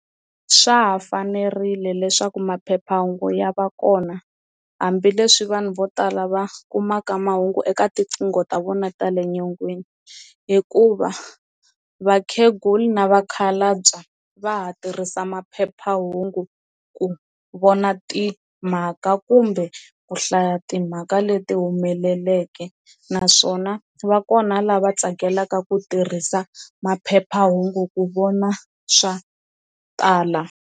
Swa ha fanerile leswaku maphephahungu ya va kona hambileswi vanhu vo tala va kumaka mahungu eka tinqingho ta vona ta le nyongeni hikuva vakhegula na vakhalabya va ha tirhisa maphephahungu ku vona timhaka kumbe ku hlaya timhaka leti humeleleke naswona va kona lava tsakelaka ku tirhisa maphephahungu ku vona swa tala.